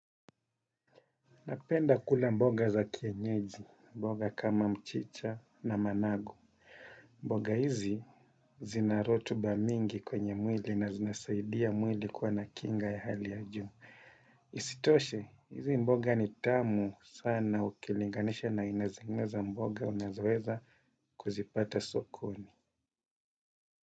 Napenda kula mboga za kienyeji, mboga kama mchicha na managu. Mboga hizi zinarotuba mingi kwenye mwili na zinasaidia mwili kuwa nakinga ya hali ya juu. Isitoshe, hizi mboga ni tamu sana ukilinganisha na aina zingine za mboga unazoweza kuzipata sokoni.